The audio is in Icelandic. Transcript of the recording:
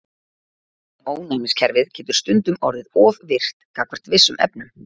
En ónæmiskerfið getur stundum orðið of virkt gagnvart vissum efnum.